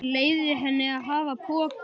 Leyfði henni að hafa pokann.